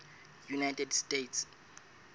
united states